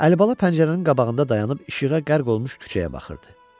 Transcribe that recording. Əlibala pəncərənin qabağında dayanıb işığa qərq olmuş küçəyə baxırdı.